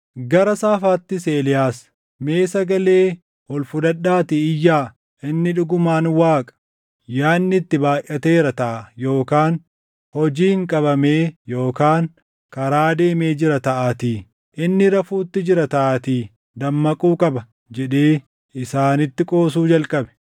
Gara saafaattis Eeliyaas, “Mee sagalee ol fudhadhaatii iyyaa! Inni dhugumaan Waaqa! Yaadni itti baayʼateera taʼa yookaan hojiin qabamee yookaan karaa deemee jira taʼaatii. Inni rafuutti jira taʼaatii dammaquu qaba” jedhee isaanitti qoosuu jalqabe.